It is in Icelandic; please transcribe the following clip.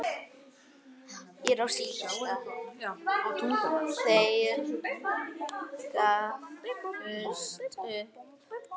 Þeir gáfust upp.